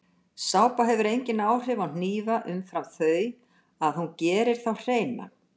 Sápa hefur engin áhrif á hnífa umfram þau að hún gerir þá hreina.